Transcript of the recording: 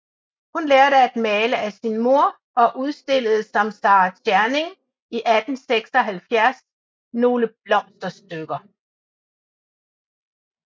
Hun lærte at male af sin moder og udstillede som Sara Tscherning i 1876 nogle blomsterstykker